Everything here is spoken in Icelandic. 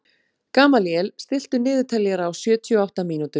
Gamalíel, stilltu niðurteljara á sjötíu og átta mínútur.